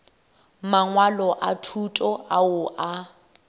mangwalo a thuto ao a